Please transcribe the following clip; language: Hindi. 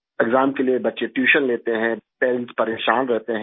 एक्साम के लिए बच्चे ट्यूशन लेते हैं पेरेंट्स परेशान रहते हैं